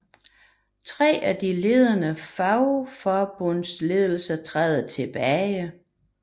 Tre af de ledende fagforbundsledere træder tilbage